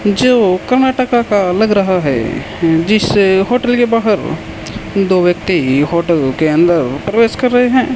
जो कर्नाटका का लग रहा है जिस होटल के बाहर दो व्यक्ति होटल के अंदर प्रवेश कर रहे हैं।